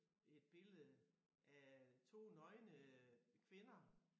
Et billede af 2 nøgne øh kvinder